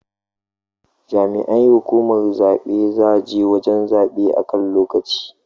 Jami'ai hukumar zabe za je wajan zabe a kan lokaci